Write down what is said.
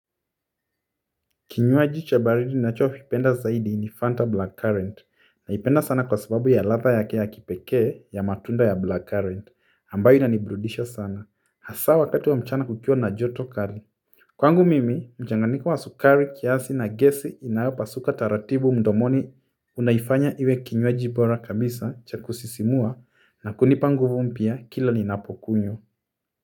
Kinywaji cha baridi ninachokipenda zaidi ni fanta black current, naipenda sana kwa sababu ya ladha yake ya kipekee ya matunda ya black current ambayo inaniburudisha sana hasaa wakati wa mchana kukiwa na joto kali kwangu mimi mchanganyiko wa sukari kiasi na gesi inaopasuka taratibu mdomoni unaifanya iwe kinywaji bora kabisa cha kusisimua na kunipa nguvu mpya kila ninapokunywa.